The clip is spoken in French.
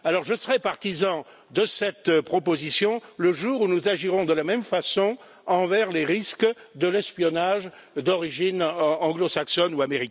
Alors je serai partisan de cette proposition le jour où nous agirons de la même façon face aux risques de l'espionnage d'origine anglo saxonne ou américaine.